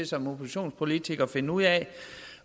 som oppositionspolitiker at finde ud af